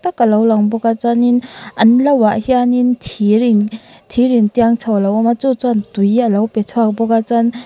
ka lang bawk a chuan in an lo ah hian in thir in thir in tiang chho a awm a chu chuan tui alo pe chhuak bawk a chuan--